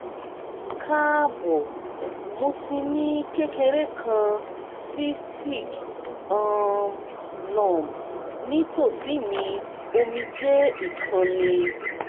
kaabo! mo ti ni kekere kan cystic um lump nitosi mi omijé ikanni